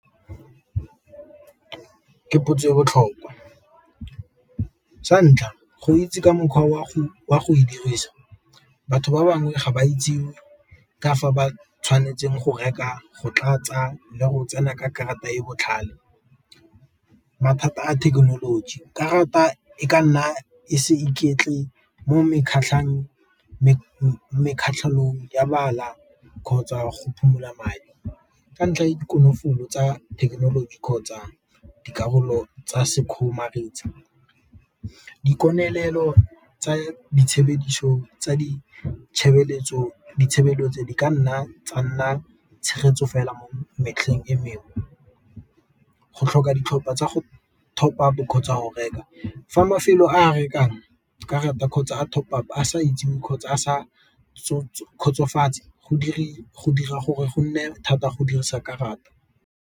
Ke potso e botlhokwa, sa ntlha go itse ka mokgwa o a go e dirisa batho ba bangwe ga ba itse ka fa ba tshwanetseng go reka, go tlatsa le go tsena ka karata e e botlhale. Mathata a thekenoloji, karata e ka nna e se mo kgotsa go phomola madi, ka ntlha ya di konofolo tsa thekenoloji kgotsa dikarolo tsa sekgomaretsi, dikokelelo tsa ditshebeletso di ka nna tsa nna tshegetso fela mo metlheng e mengwe, go tlhoka ditlhopha tsa go top-a bo kgotsa a go reka, fa mafelo a rekang karata kgotsa a top-a sa itsewe kgotsa a sa kgotsofetse go dira gore go nne thata go dirisa karata.